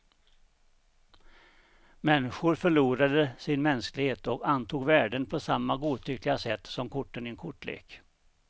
Människor förlorade sin mänsklighet, och antog värden på samma godtyckliga sätt som korten i en kortlek.